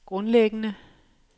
grundlæggende